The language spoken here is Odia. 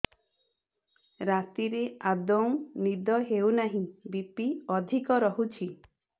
ରାତିରେ ଆଦୌ ନିଦ ହେଉ ନାହିଁ ବି.ପି ଅଧିକ ରହୁଛି